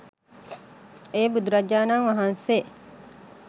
එය බුදුරජාණන් වහන්සේ